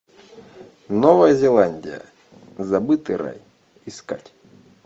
новая зеландия забытый рай искать